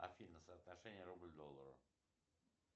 афина соотношение рубль к доллару